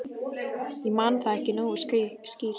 Ég man það ekki nógu skýrt.